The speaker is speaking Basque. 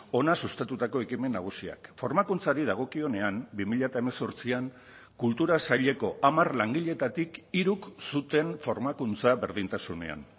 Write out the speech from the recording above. hona sustatutako ekimen nagusiak formakuntzari dagokionean bi mila hemezortzian kultura saileko hamar langiletatik hiruk zuten formakuntza berdintasunean